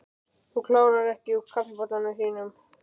Þú kláraðir ekki úr kaffibollanum þínum.